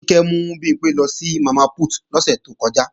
Kíkẹ́ mú Bimpé lọ sí Mama Put lọ́sẹ̀ to kọjá